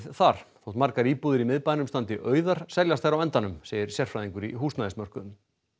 þar þótt margar íbúðir í miðbænum standi auðar seljast þær á endanum segir sérfræðingur á húsnæðismarkaði